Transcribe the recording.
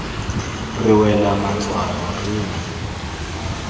re wela matswalo re ne